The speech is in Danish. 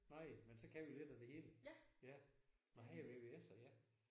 Nej men så kan vi lidt af det hele ja. Nåh han er VVS'er ja